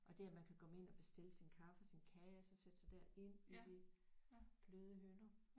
Og det at man kan komme ind og bestille sin kaffe og sin kage og så sætte sig derind i de bløde hynder